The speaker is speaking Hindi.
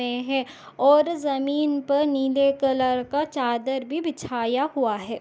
--ये है और जमीन पर नीले कलर का चादर भी बिछाया हुआ है।